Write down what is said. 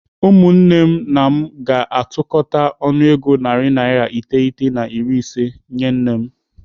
Ụmụnne m na mụ ga-atụkọta ọnụego narị naira iteghete na iri ise nyee nne m.